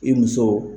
I muso